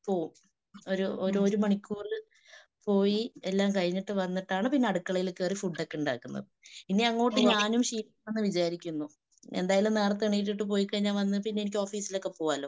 പോകും. ഒര് ഒരു മണിക്കൂർ പോയി എല്ലാം കഴിഞ്ഞിട്ട് വന്നിട്ടാണ് പിന്നെ അടുക്കളയിൽ കേറി ഫുഡൊക്കെ ഉണ്ടാക്കുന്നത്. ഇനിയങ്ങോട്ട് ഞാനും ശീലിക്കണംന്ന് വിചാരിക്കുന്നു. എന്തായാലും നേരത്തേ എണീറ്റിട്ടു പൊയ്‌കഴിഞ്ഞ വന്ന് പിന്നെ എനിക്ക് ഓഫീസിലൊക്കെ പോകാലോ